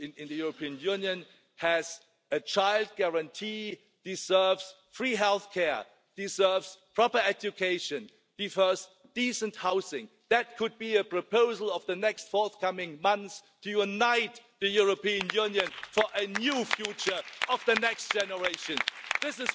because they do not know what will happen. They are afraid of a possible political earthquake and you cannot say that the European Commission